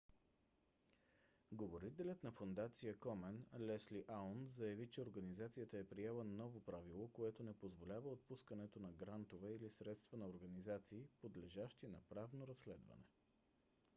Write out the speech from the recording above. говорителят на фондация комен лесли аун заяви че организацията е приела ново правило което не позволява отпускането на грантове или средства на организации подлежащи на правно разследване